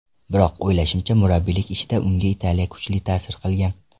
Biroq, o‘ylashimcha, murabbiylik ishida unga Italiya kuchli ta’sir qilgan.